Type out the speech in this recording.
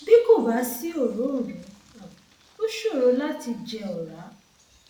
bí kò bá sí òróǹro um ó ṣòro láti jẹ ọrá